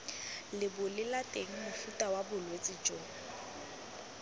lebolelateng mofuta wa bolwetse jo